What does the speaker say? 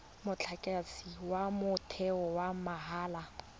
motlakase wa motheo wa mahala